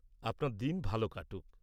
-আপনার দিন ভালো কাটুক।